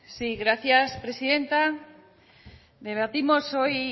sí gracias presidenta debatimos hoy